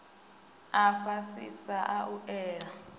a fhasisa a u ela